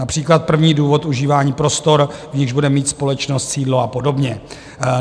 Například první důvod užívání prostor, v nichž bude mít společnost sídlo, a podobně.